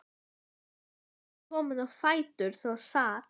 En þegar ég var komin á fætur þá sat